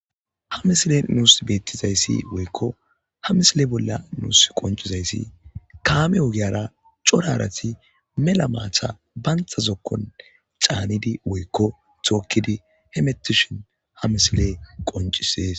Ha misile nuus beettizayssi woykko ha misile bolla nuus qoncizayssi kaame ogiyara corarati mela maatha bantazokkon caanidi woykko thookkidi he metishin ha misile qoncisees.